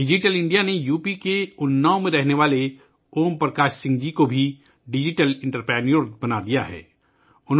digital India نے UP کے اناؤ میں رہنے والے اوم پرکاش سنگھ جی کو بھی ڈیجیٹل انٹرپرینیور بنا دیا ہے